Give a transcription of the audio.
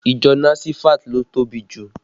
Ìjọ nasifat ló tóbi jù